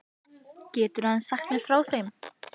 Geturðu aðeins sagt mér frá þeim?